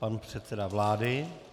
Pan předseda vlády.